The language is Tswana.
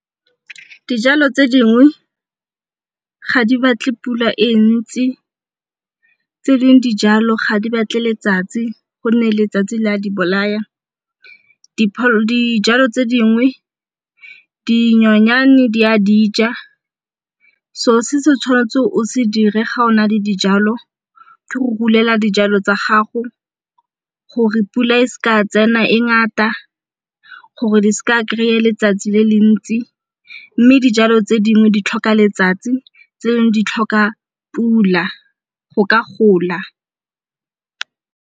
Dijalo tse dingwe ga di batle pula e ntsi, tse dingwe dijalo ga di batle letsatsi go nne letsatsi le a di bolaya dijalo tse dingwe dinyonyane di a dija selo se se tshwanetseng o se dire ga ona le dijalo go dijalo tsa gago gore pula e se tsena e ngata gore di seka kry-a letsatsi le le ntsi mme dijalo tse dingwe di tlhoka letsatsi tse dingwe di tlhoka pula go ka gola.